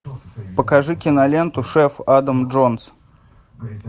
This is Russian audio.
покажи киноленту шеф адам джонс